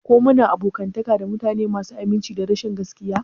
Ko muna abokantaka da mutane masu aminci da rashin gaskiya?